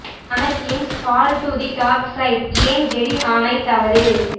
Anakin's fall to the dark side ஏன் Jedi ஆணை தவறு